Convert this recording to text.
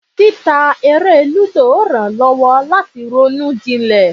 Títa eré lúdò rán lowo lati ronú jilè.